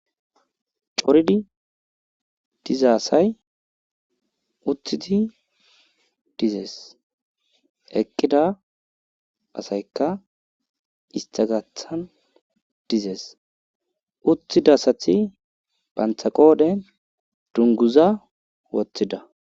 Coridi diza asay uthidi dizees,eqqida asaykkaistta gaathan dize uttida asati bantta qoodhen dungguza wothida,